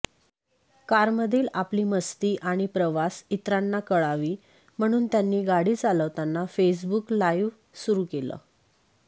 कारमधील आपली मस्ती आणि प्रवास इतरांना कळावी म्हणून त्यांनी गाडी चालवताना फेसबुक लाईव्ह सुरु केलं